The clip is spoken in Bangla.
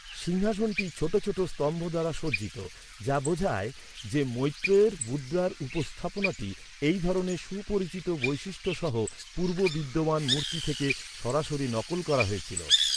সিংহাসনটি ছোট ছোট স্তম্ভ দ্বারা সজ্জিত, যা বোঝায় যে, মৈত্রেয়ের মুদ্রার উপস্থাপনাটি, এই ধরনের সুপরিচিত বৈশিষ্ট্যসহ পূর্ব বিদ্যমান মূর্তি থেকে সরাসরি নকল করা হয়েছিল।